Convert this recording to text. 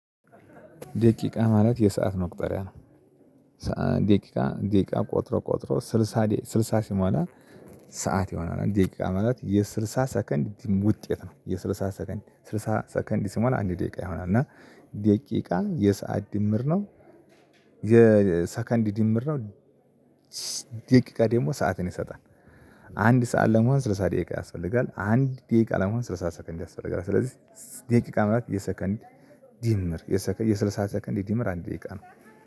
ደቂቃ ማለት የሰዓት መቁጠሪያ ነው። ደቂቃ ደቂቃ ቆጥሮ ቆጥሮ ስልሳ ስልሳ ሲሟላ ሰዓት ይሆናል። ደቂቃ ማለት የስልሳ ሰከንድ ውጤት ነው። የስልሳ ሰከንድ ስልሳ ሰከንድ ሲሞላ አንድ ደቂቃ ይሆናል። እና ደቂቃ የሰዓት ድምር ነው። የሰከንድ ድምር ነው። ደቂቃ ደግሞ ሰዓትን ይሰጣል። አንድ ሰዓት ለመሆን ስልሳ ደቂቃ ያስፈልጋል አንድ ደቂቃ ለመሆን ስለ ሰዓት ሰከንድ ያስፈልጋል። ስለዚህ ደቂቃ ማለት የሰከንድ ድምር የስልሳ ሰከንድ ድምር አንድ ደቂቃ ነው።